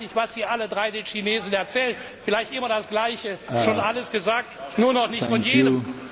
Ich weiß nicht, was Sie alle drei den Chinesen erzählen, vielleicht immer das Gleiche schon alles gesagt, nur noch nicht von jedem.